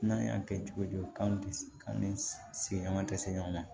N'an y'a kɛ cogo di k'an ni sigiɲɔgɔn tɛ se ɲɔgɔn ma